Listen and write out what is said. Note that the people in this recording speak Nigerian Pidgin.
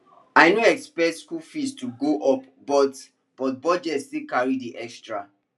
i no expect school fee to go up but but budget still carry the extra